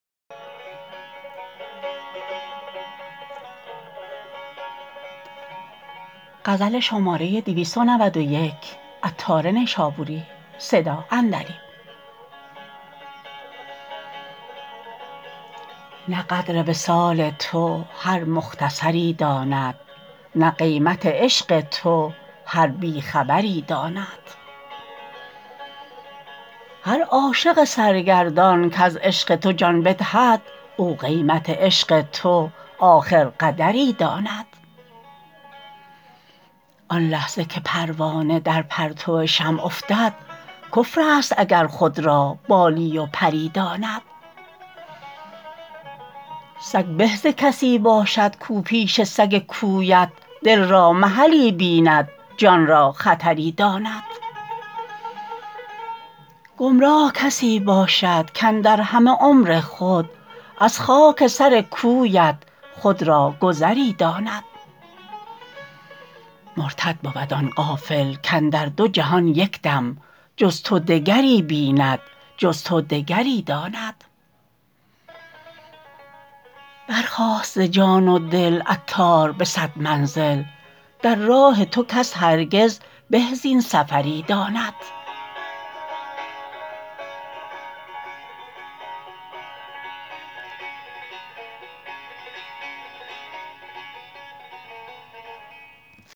نه قدر وصال تو هر مختصری داند نه قیمت عشق تو هر بی خبری داند هر عاشق سرگردان کز عشق تو جان بدهد او قیمت عشق تو آخر قدری داند آن لحظه که پروانه در پرتو شمع افتد کفر است اگر خود را بالی و پری داند سگ به ز کسی باشد کو پیش سگ کویت دل را محلی بیند جان را خطری داند گمراه کسی باشد کاندر همه عمر خود از خاک سر کویت خود را گذری داند مرتد بود آن غافل کاندر دو جهان یکدم جز تو دگری بیند جز تو دگری داند برخاست ز جان و دل عطار به صد منزل در راه تو کس هرگز به زین سفری داند